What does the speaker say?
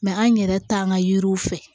an yɛrɛ t'an ka yiriw fɛ